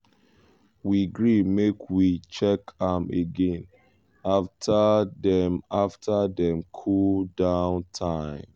we gree make we check am again after dem after dem cool-down time.